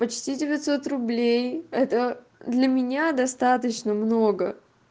почти девятьсот рублей это для меня достаточно много